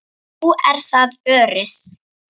Nú er það Örið.